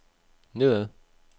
nedad